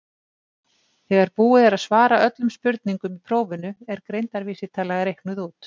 þegar búið er að svara öllum spurningum í prófinu er greindarvísitala reiknuð út